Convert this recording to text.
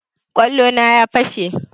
Kwallo na ya fashe